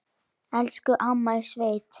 Elsku amma í sveit.